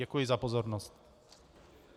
Děkuji za pozornost.